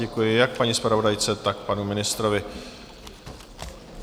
Děkuji jak paní zpravodajce, tak panu ministrovi.